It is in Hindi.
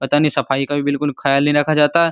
पता नहीं सफाई का भी बिल्कुल ख्याल नहीं रखा जाता।